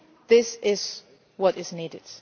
leadership. This is what